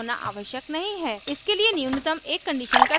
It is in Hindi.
इसके लिए न्यूनतम एक condition का true होना आवश्यक है